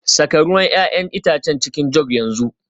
Saka ruwan 'ya'yan itace a cikin jug yanzu